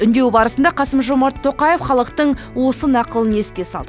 үндеуі барысында қасым жомарт тоқаев халықтың осы нақылын еске салды